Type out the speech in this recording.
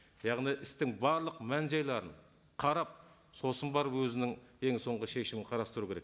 яғни істің барлық мән жайларын қарап сосын барып өзінің ең соңғы шешімін қарастыру керек